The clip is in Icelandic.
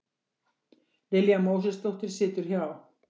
Lilja Mósesdóttir situr hjá